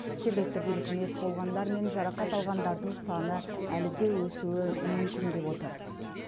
жергілікті билік мерт болғандар мен жарақат алғандардың саны әлі де өсуі мүмкін деп отыр